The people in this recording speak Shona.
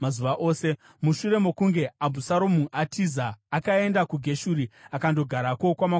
Mushure mokunge Abhusaromu atiza akaenda kuGeshuri, akandogarako kwamakore matatu.